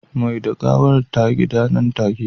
Mai da gawar ta gida nan take